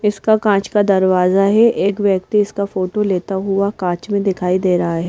इसका कांच का दरवाजा है एक व्यक्ति इसका फोटो लेता हुआ कांच में दिखाई दे रहा है।